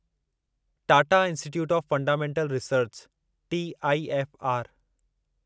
Tata institute of fundamental research TIFR